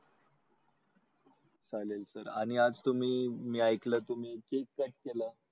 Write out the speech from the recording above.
चालेल सर आणि आज तुम्ही मी ऐकलं तुम्ही cake cut केला.